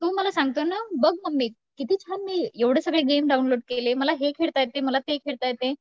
तो मला सांगतोय नं बघ मम्मी किती छान मी एवढे सगळे गेम डाउनलोड केले. मला हे खेळता येते मला ते खेळता येते.